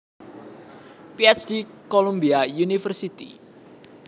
Ph D Columbia University